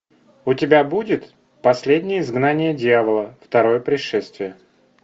у тебя будет последнее изгнание дьявола второе пришествие